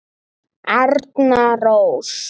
Arna Rós.